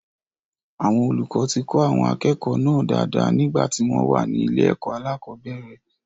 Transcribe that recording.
Àwọn olùkọ ti kọ́ àwọn akẹ́kọ̀ọ́ náà dáadáa nígbà tí wọ́n wà ní ilé-ẹ̀kó aláàkọ́bẹ̀rẹ̀.